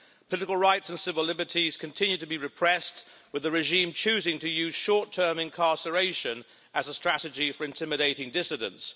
Political rights and civil liberties continue to be repressed, with the regime choosing to use short-term incarceration as a strategy for intimidating dissidents.